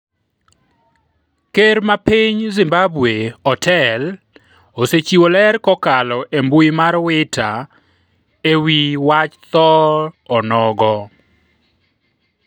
Ker ma piny Zimbabwe Otel osechiwo ler kokalo e mbui mar wita ewi wach tho onogo